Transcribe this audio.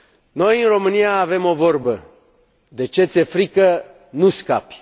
Noi, în România, avem o vorbă de ce ți e frică nu scapi.